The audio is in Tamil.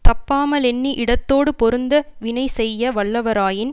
தப்பாமலெண்ணி இடத்தோடு பொருந்த வினை செய்ய வல்லவராயின்